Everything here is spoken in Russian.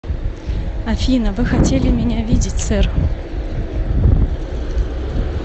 афина вы хотели меня видеть сэр